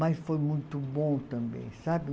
Mas foi muito bom também, sabe?